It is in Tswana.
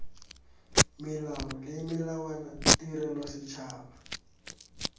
melao le melawana tirelo setšhaba